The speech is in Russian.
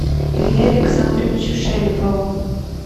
илье александровичу шелепову